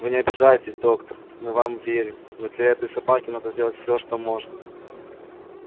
вы не обижайтесь доктор мы вам верим но для этой собаки надо сделать всё что можно